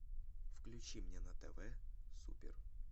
включи мне на тв супер